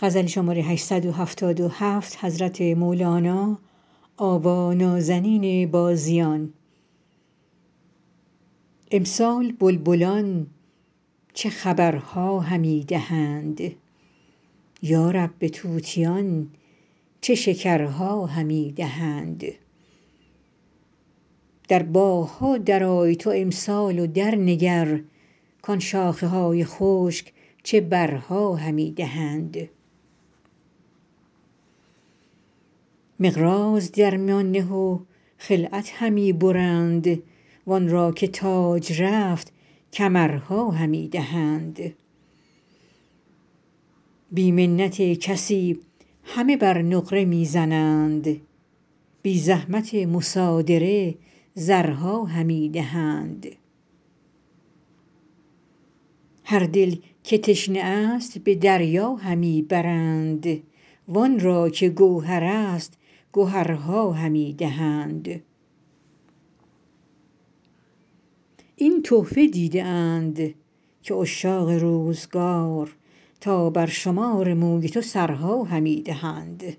امسال بلبلان چه خبرها همی دهند یا رب به طوطیان چه شکرها همی دهند در باغ ها درآی تو امسال و درنگر کان شاخه های خشک چه برها همی دهند مقراض در میان نه و خلعت همی برند وان را که تاج رفت کمرها همی دهند بی منت کسی همه بر نقره می زنند بی زحمت مصادره زرها همی دهند هر دل که تشنه ست به دریا همی برند وان را که گوهرست گهرها همی دهند این تحفه دیده اند که عشاق روزگار تا برشمار موی تو سرها همی دهند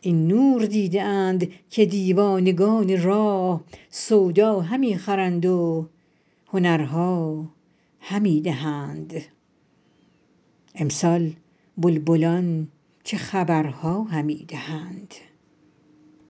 این نور دیده اند که دیوانگان راه سودا همی خرند و هنرها همی دهند